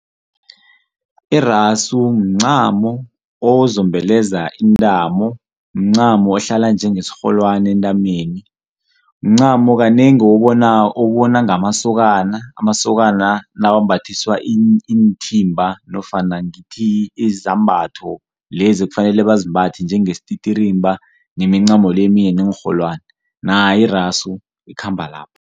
Irasu mncamo ozombeleza intamo, mncamo ohlala njengesirholwani entameni, mncamo kanengi owubona ngamasokana amasokana nawambathiswa iinthimba nofana ngithi izambatho lezi ebafanele bazimbathe njengesititrimba nemincamo le eminye neenrholwani. Nayo irasu ikhamba lapho.